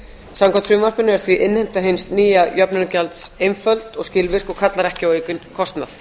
samkvæmt frumvarpinu er því innheimta hins nýja jöfnunargjalds einföld og skilvirk og kallar ekki á aukinn kostnað